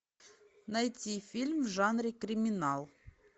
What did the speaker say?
найти фильм в жанре криминал